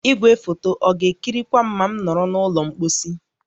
Igwefoto a ga-ekirikwa m ma m nọrọ n'ụlọ mposi?